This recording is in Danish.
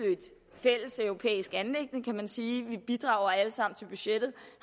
fælles europæisk anliggende kan man sige vi bidrager alle sammen til budgettet